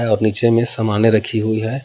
और नीचे में सामानों रखी हुई है।